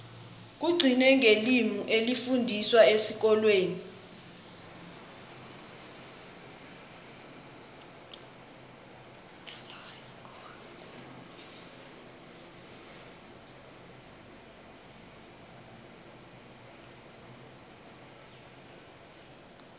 kugcine ngelimi elifundiswa esikolweni